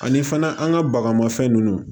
Ani fana an ka bagamafɛn ninnu